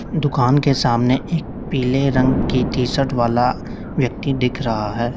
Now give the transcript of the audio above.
दुकान के सामने एक पीले रंग की टी शर्ट वाला व्यक्ति दिख रहा है।